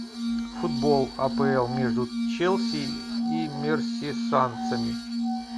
футбол апл между челси и мерсисайдцами